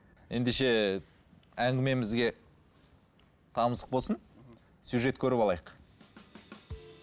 ендеше әңгімемізге тамызық болсын мхм сюжет көріп алайық